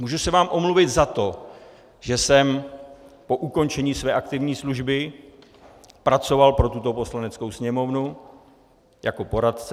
Můžu se vám omluvit za to, že jsem po ukončení své aktivní služby pracoval pro tuto Poslaneckou sněmovnu jako poradce.